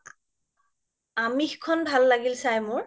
আমিস খন ভাল লাগিল চাই মোৰ